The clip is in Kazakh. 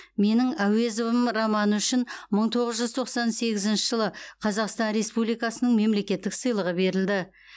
менің әуезовым романы үшін мың тоғыз жүз тоқсан сегізінші жылы қазақстан республикасының мемлекеттік сыйлығы берілді